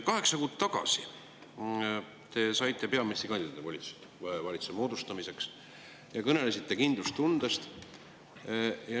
Kaheksa kuud tagasi te saite peaministrikandidaadi volitused valitsuse moodustamiseks ja kõnelesite kindlustundest.